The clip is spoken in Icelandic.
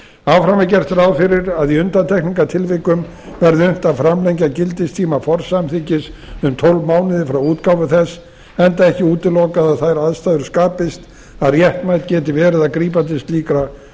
áfram er gert ráð fyrir að í undantekningartilvikum verði unnt að framlengja gildistíma forsamþykkis um tólf mánuði frá útgáfu þess enda ekki útilokað að þær aðstæður skapist að réttmætt geti verið að grípa til slíkra